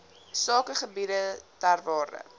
sakegebiede ter waarde